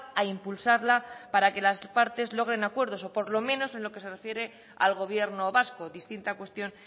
a impulsarla para que las partes logren acuerdos o por lo menos en lo que se refiere al gobierno vasco distinta cuestión